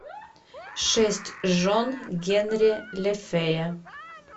шесть жен генри лефэя